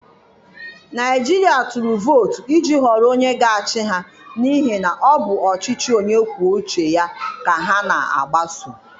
Naịjirịa tụrụ vootu iji họrọ onye ga-achị ha n'ihi na ọ bụ ọchịchị Onye kwuo uche ya ka ha na-agbaso.